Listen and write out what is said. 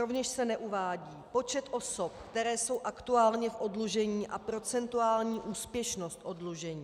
Rovněž se neuvádí počet osob, které jsou aktuálně v oddlužení a procentuální úspěšnost oddlužení.